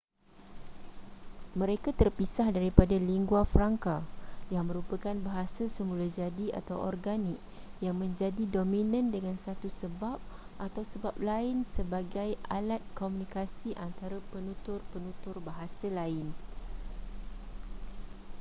mereka terpisah daripada lingua francas yang merupakan bahasa semula jadi atau organik yang menjadi dominan dengan satu sebab atau sebab lain sebagi alat komunikasi antara penutur-penutur bahasa lain